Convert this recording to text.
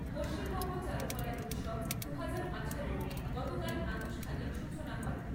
পশ্চিমবঙ্গ চারুকলা উৎসব দুহাজার আঠারো এর গতকাল আনুষ্ঠানিক সূচনা হয়।